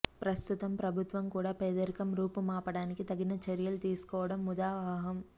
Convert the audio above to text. ప్రస్తుతం ప్రభుత్వం కూడా పేదరికం రూపు మాప టానికి తగిన చర్యలు తీసుకోవడం ముదావహం